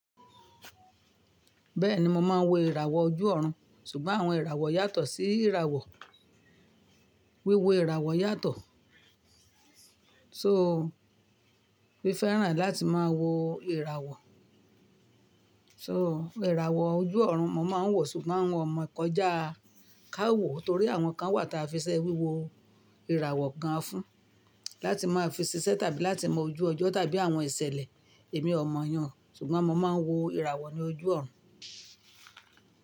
Bẹ́ẹ̀ni mo máa ń wo ìràwọ̀ ojú ọ̀run, ṣùgbọ́n àwọn ìràwọ̀ yàtọ̀ sí ìràwọ̀, wíwo ìràwọ̀ yàtọ̀. So, wí fẹ́ràn láti máa wo ìràwọ̀. So ìràwọ̀ ojú ọ̀run mo máa ń wò, ṣùgbọ́n àwọn ọ̀mọ̀kọ́jà ká wò torí àwọn kan wà tí a fiṣẹ́ wíwo ìràwọ̀ gan fún láti máa fi ṣiṣẹ́ tàbí láti mọ ojú ọjọ́ tàbí àwọn ìṣẹ̀lẹ̀ ẹ̀mí ọ̀mọ̀yàn ṣùgbọ́n mọ máa ń wo ìràwọ̀ ni ojú ọ̀run.